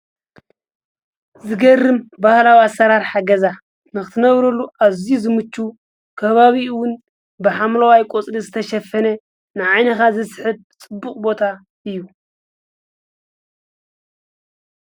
ዝገርም ባህላዊ ኣሰራርሓ ገዛ ንክትነብረሉ ኣዝዩ ዝምችዉ ከባቢኡ ዉን ብሓምለዋይ ቆጽሊ ዝተሸፈነ ንዓይንካ ዝስሕብ ጽቡቅ ቦታ እዩ።